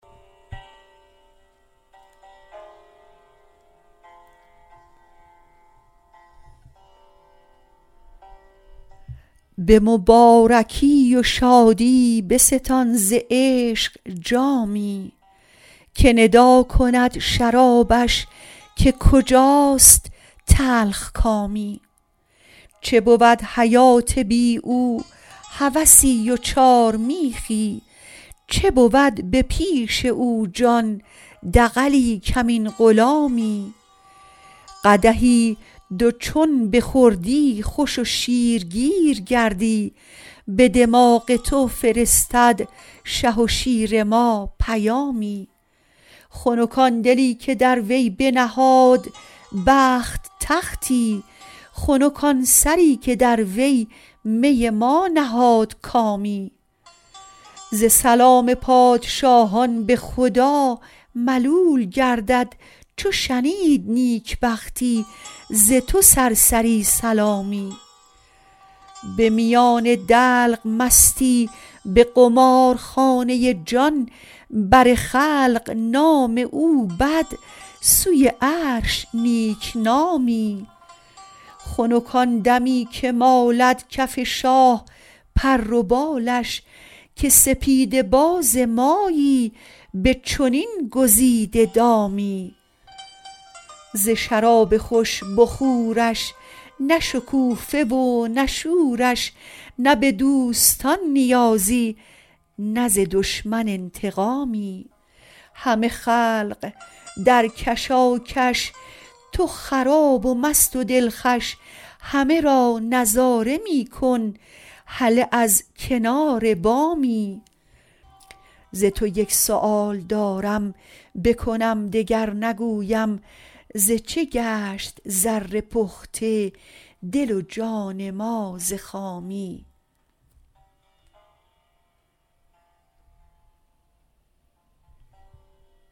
به مبارکی و شادی بستان ز عشق جامی که ندا کند شرابش که کجاست تلخکامی چه بود حیات بی او هوسی و چارمیخی چه بود به پیش او جان دغلی کمین غلامی قدحی دو چون بخوردی خوش و شیرگیر گردی به دماغ تو فرستد شه و شیر ما پیامی خنک آن دلی که در وی بنهاد بخت تختی خنک آن سری که در وی می ما نهاد کامی ز سلام پادشاهان به خدا ملول گردد چو شنید نیکبختی ز تو سرسری سلامی به میان دلق مستی به قمارخانه جان بر خلق نام او بد سوی عرش نیک نامی خنک آن دمی که مالد کف شاه پر و بالش که سپیدباز مایی به چنین گزیده دامی ز شراب خوش بخورش نه شکوفه و نه شورش نه به دوستان نیازی نه ز دشمن انتقامی همه خلق در کشاکش تو خراب و مست و دلخوش همه را نظاره می کن هله از کنار بامی ز تو یک سؤال دارم بکنم دگر نگویم ز چه گشت زر پخته دل و جان ما ز خامی